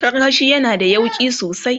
karkashi yana da yauƙi sosai